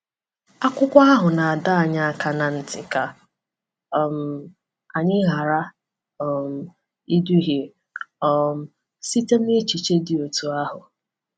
Akwụkwọ ahụ na-adọ anyị aka ná ntị ka um anyị ghara um iduhie um site n’echiche dị otú ahụ.